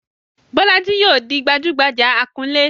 Bolaji yóò di gbajúgbajà akunlé.